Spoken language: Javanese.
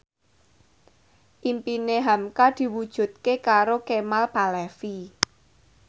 impine hamka diwujudke karo Kemal Palevi